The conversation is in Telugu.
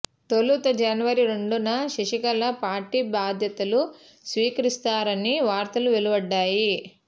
తొలుత జనవరి రెండున శశికళ పార్టీ బాధ్యతలు స్వీకరిస్తారని వార్తలు వెలువడ్డాయి